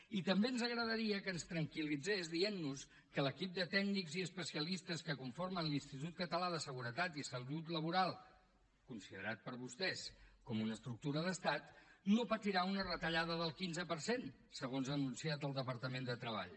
i també ens agradaria que ens tranquil·litzés dient nos que l’equip de tècnics i especia listes que conformen l’institut català de seguretat i salut laboral considerat per vostès com una estructura d’estat no patirà una retallada del quinze per cent segons ha anunciat el departament de treball